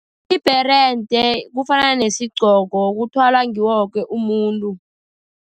Ibherede kufana nesigqoko, kuthwalwa ngiwo woke umuntu.